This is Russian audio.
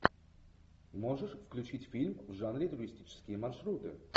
можешь включить фильм в жанре туристические маршруты